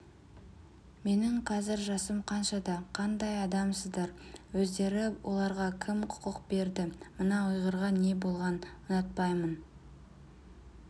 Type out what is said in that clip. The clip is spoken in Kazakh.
менің қазір жасым қаншада қандай адамсыздар өздері оларға кім құқық берді мына ұйғырға не болған ұнатпаймын